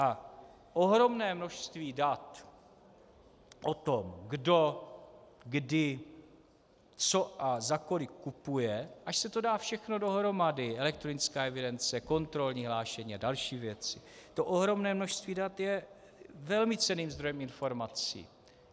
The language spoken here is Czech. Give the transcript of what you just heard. A ohromné množství dat o tom, kdo, kdy, co a za kolik kupuje, až se to dá všechno dohromady, elektronická evidence, kontrolní hlášení a další věci, to ohromné množství dat je velmi cenným zdrojem informací.